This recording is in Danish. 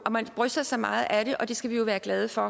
og man bryster sig meget af det og at det skal vi jo være glade for